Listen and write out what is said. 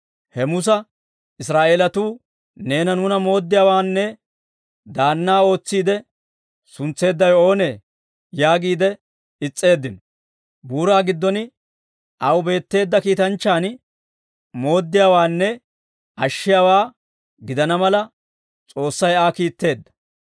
«He Musa Israa'eelatuu; ‹Neena nuuna mooddiyaawaanne daannaa ootsiide suntseeddawe oonee?› yaagiide is's'eeddino; buuraa giddon aw beetteedda kiitanchchan mooddiyaawaanne ashshiyaawaa gidana mala, S'oossay Aa kiitteedda.